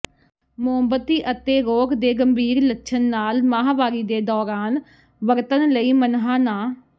ਮੋਮਬੱਤੀ ਅਤੇ ਰੋਗ ਦੇ ਗੰਭੀਰ ਲੱਛਣ ਨਾਲ ਮਾਹਵਾਰੀ ਦੇ ਦੌਰਾਨ ਵਰਤਣ ਲਈ ਮਨ੍ਹਾ ਨਾ